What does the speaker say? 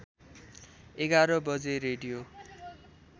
११ बजे रेडियो